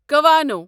کوانو